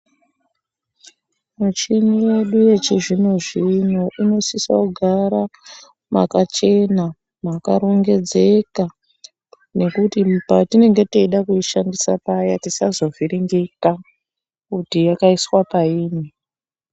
Michini yedu yechizvino-zvino inosisa kugara makachena, mwakarongedzeka nekuti patinenge teida kuishandisa paya tisazovhiringika, kuti yakaiswa payini.